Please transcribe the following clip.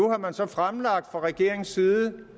fra regeringens side